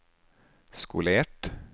skolert